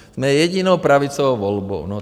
Jsme jedinou pravicovou volbou.